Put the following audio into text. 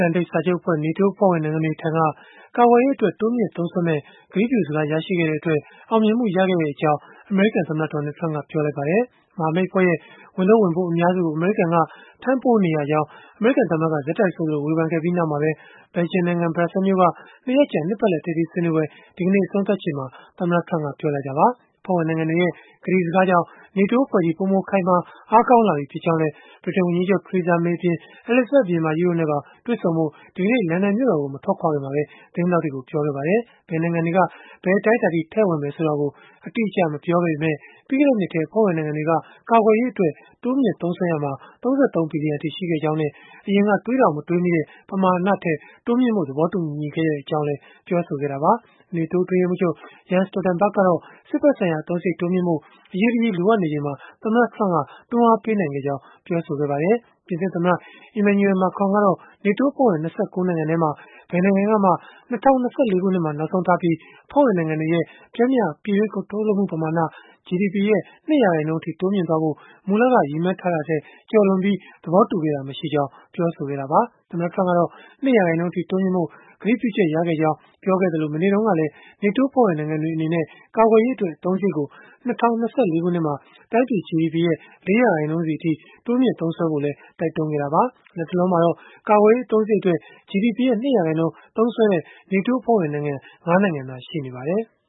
န်တိတ်စာချုပ်အဖဲ့ွ (NATO) အဖွဲ့ဝင်နိုင်ငံတွေထံက ကာကွယ်ရေးအတွက် တိုးမြှင့်သုံးစွဲမယ့် ကတိပြုစကား ရရှိခဲ့တဲ့အတွက် အောင်မြင်မှုရခဲ့ကြောင်း အမေရိကန်သမ္မတ Donald Trump က ပြောလိုက်ပါတယ်။ မဟာမိတ်အဖွဲ့ရဲ့ ဝန်ထုပ်ဝန်ပိုး အများစုကို အမေရိကန်က ထမ်းပိုးနေရကြောင်း အမေရိကန်သမ္မတက ဆက်တိုက်ဆိုသလို ဝေဖန်ခဲ့ပြီးနောက်မှာပဲ ဘယ်လ်ဂျီယံနိုင်ငံ ဘရပ်ဆဲလ်မြို့က ၂ ရက်ကြာ နှစ်ပတ်လည် ထိပ်သီးဆွေးနွေးပွဲ ဒီကနေ့ အဆုံးသတ်ချိန်မှာ သမ္မတ Trump က ပြောဆိုလိုက်တာပါ။ အဖွဲ့ဝင်နိုင်ငံတွေရဲ့ ကတိစကားကြောင့် NATO အဖွဲ့ကြီး ပိုမိုခိုင်မာ အားကောင်းလာပြီဖြစ်ကြောင်းလည်း ဗြိတိန်ဝန်ကြီးချုပ် Theresa May အပြင် အဲလိဇဘတ် ဘုရင်မကြီးတို့နဲ့ပါ တွေ့ဆုံဖို့ ဒီကနေ့ လန်ဒန်မြို့တော်ကို မထွက်ခွာခင်မှာပဲ သတင်းထောက်တွေကို ပြောခဲ့ပါတယ်။ ဘယ်နိုင်ငံတွေက ဘယ်အတိုင်းအတာအထိ ထည့်ဝင်မယ်ဆိုတာကို အတိအကျ မပြောခဲ့ပေမဲ့၊ ပြီးခဲ့တဲ့နှစ်ထဲ အဖွဲ့ဝင်နိုင်ငံတွေက ကာကွယ်ရေးအတွက် တိုးမြှင့်သုံးစွဲရာမှာ ၃၃ ဘီလီယံအထိ ရှိခဲ့ကြောင်းနဲ့ အရင်က တွေးတောင်မတွေးမိတဲ့ ပမာဏထက် တိုးမြှင့်ဖို့ သဘောတူခဲ့ကြောင်းလည်း ပြောဆိုခဲ့တာပါ။ NATO အတွင်းရေးမှူးချုပ် Jens Stoltenberg ကတော့ စစ်ဘက်ဆိုင်ရာ အသုံးစရိတ် တိုးမြှင့်ဖို့ အရေးတကြီး လိုအပ်နေချိန်မှာ သမ္မတ Trump က တွန်းားပေးနိုင်ခဲ့ကြောင်းပြောဆိုခဲ့ပါတယ်။ ပြင်သစ်သမ္မတ Emmanuel Macron ကတော့ NATO အဖွဲ့ဝင် ၂၉ နိုင်ငံထဲမှာ ဘယ်နိုင်ငံကမှ ၂၀၂၄ ခုနှစ်မှာ နောက်ဆုံးထားပြီး အဖွဲ့ဝင်နိုင်ငံတွေရဲ့ ပျမ်းမျှ ပြည်တွင်း ကုန်ထုတ်လုပ်မှု ပမာဏ (GDP) ရဲ့ ၂ ရာခိုင်နှုန်းအထိ တိုးမြှင့်သွားဖို့ မူလက ရည်မှန်းချက်ကို ကျော်လွန်ပြီး ကတိပေးပြောဆိုတာမျိုး မရှိခဲ့ကြောင်း ပြောဆိုခဲ့တာပါ။ သမ္မတ Trump ကတော့ ၂ ရာခိုင်နှုန်းအထိ တိုးမြှင့်ဖို့ ကတိပြုချက်ရခဲ့ကြောင်း ပြောခဲ့သလို မနေ့တုန်းကလည်း NATO အဖွဲ့ဝင် နိုင်ငံတွေအနေနဲ့ ကာကွယ်ရေးအတွက် အသုံးစရိတ်ကို ၂၀၂၄ ခုနှစ်မှာ တိုင်းပြည် GDP ရဲ့ ၄ ရာခိုင်နှုန်းစီအထိ တိုးမြှင့်သုံးစွဲဖို့လည်း တိုက်တွန်းခဲ့တာပါ။ လတ်တလောမှာတော့ ကာကွယ်ရေးအသုံးစရိတ်အတွက် GDP ရဲ့ ၂ ရာခိုင်နှုန်းသုံးစွဲတဲ့ NATO အဖွဲ့ဝင်နိုင်ငံ ၅ နိုင်ငံသာ ရှိပါတယ်။